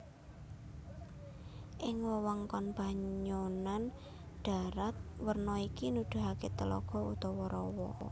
Ing wewengkon banyonan dharat werna iki nuduhaké telaga utawa rawa